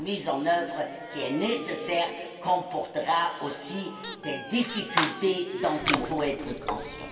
sa mise en œuvre qui est nécessaire comportera aussi des difficultés dont il faut être conscient.